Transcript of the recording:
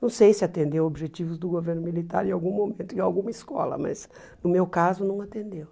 Não sei se atendeu objetivos do governo militar em algum momento, em alguma escola, mas no meu caso não atendeu.